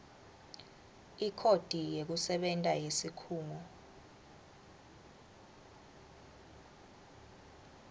ikhodi yekusebenta yesikhungo